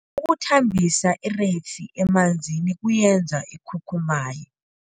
Ukuthambisa ireyisi emanzini kuyenza ikhukhumaye.